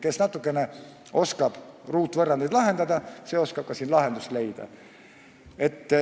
Kes natukene oskab ruutvõrrandeid lahendada, see oskab ka siin lahendust leida.